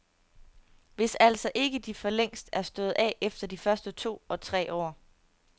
Hvis altså ikke de forlængst er stået af efter de første to og tre år.